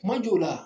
Kuma jɔw la